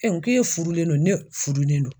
k'e furulen don ne fudulen don